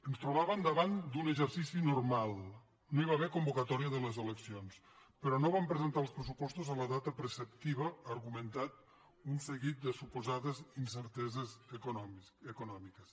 ens trobàvem davant d’un exercici normal no hi va haver convocatòria de les eleccions però no van presentar els pressupostos en la data preceptiva argumentant un seguit de suposades incerteses econòmiques